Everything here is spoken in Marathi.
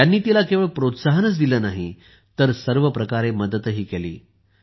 त्यांनी तिला केवळ प्रोत्साहनच दिले नाही तर सर्व प्रकारे मदतही केली